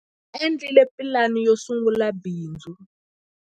Va endlile pulani yo sungula bindzu.